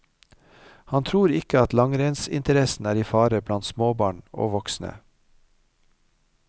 Han tror ikke at langrennsinteressen er i fare blant småbarn og voksne.